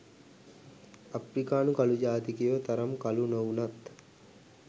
අප්‍රිකානු කළු ජාතිකයො තරම් කළු නොවුනත්.